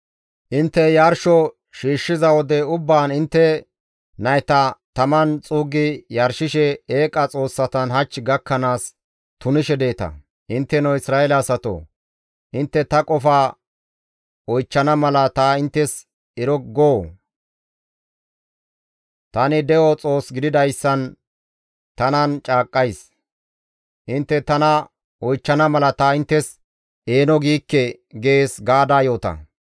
Intte yarsho shiishshiza wode ubbaan intte nayta taman xuuggi yarshishe eeqa xoossatan hach gakkanaas tunishe deeta; intteno Isra7eele asatoo! Intte ta qofa oychchana mala ta inttes ero goo? Tani de7o Xoos gididayssan tanan caaqqays; intte tana oychchana mala ta inttes eeno giikke› gees» gaada yoota.